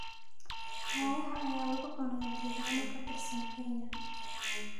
Ayaxa ayaa lagu cunaa deegaano ka tirsan Kenya